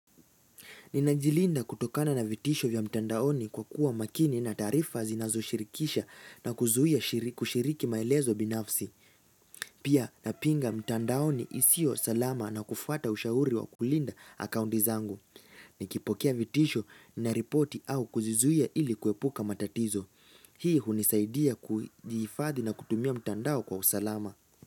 Ninajilinda kutokana na vitisho vya mtandaoni kwa kuwa makini na taarifa zinazo shirikisha na kuzuia kushiriki maelezo binafsi. Pia napinga mtandaoni isio salama na kufuata ushauri wa kulinda akaunti zangu. Nikipokea vitisho, nina ripoti au kuzizuia ili kuepuka matatizo. Hii hunisaidia kujihifadhi na kutumia mtandao kwa usalama.